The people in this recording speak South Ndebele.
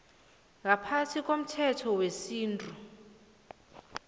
ngaphasi komthetho wesintu